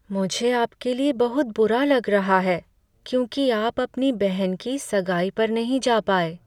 मुझे आपके लिए बहुत बुरा लग रहा है क्योंकि आप अपनी बहन की सगाई पर नहीं जा पाए।